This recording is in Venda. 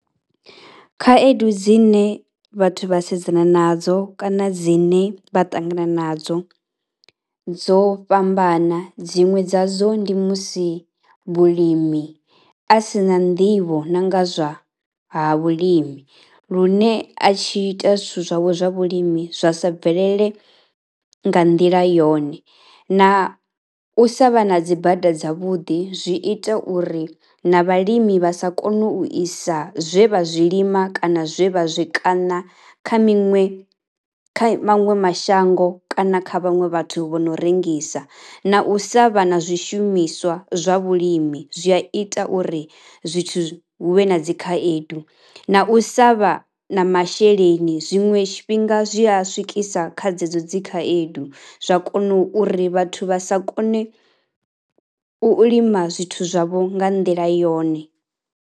Khaedu dzine vhathu vha sedzana nadzo kana dzine vha ṱangana nadzo dzo fhambana, dziṅwe dzadzo ndi musi mulimi a si na nḓivho nga zwa ha vhulimi lune a tshi ita zwithu zwawe zwa vhulimi zwa sa bvelele nga nḓila yone. Na u sa vha na dzi bada dzavhuḓi zwi ita uri na vhalimi vha sa kone u isa zwe vha zwi lima kana zwe vha zw kaṋa kha miṅwe, kha maṅwe mashango kana kha vhaṅwe vhathu vho no rengisa. Na u sa vha na zwishumiswa zwa vhulimi zwi a ita uri zwithu zwi, hu vhe na dzi khaedu. Na u sa vha na masheleni zwiṅwe tshifhinga zwi a swikisa kha dzedzo dzi khaedu zwa kona uri vhathu vha sa kone u lima zwithu zwavho nga nḓila yone.